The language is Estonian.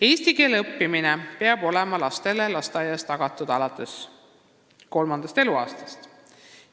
" Eesti keele õpe peab olema lasteaias lastele tagatud alates kolmandast eluaastast.